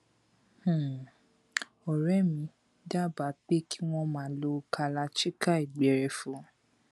um ọrẹ mi dábàá pé kí wọn máa lo kalachikai gbẹrẹfu